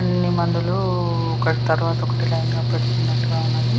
అన్ని మందులు ఒకటి తర్వాత ఒకటి లైన్ గా పెడ్తున్నటు గా ఉన్నది.